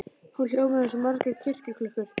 Hún hljómar eins og margar kirkjuklukkur.